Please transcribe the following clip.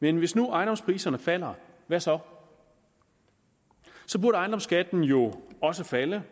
men hvis nu ejendomspriserne falder hvad så så burde ejendomsskatten jo også falde